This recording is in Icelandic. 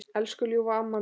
Elsku ljúfa amma mín.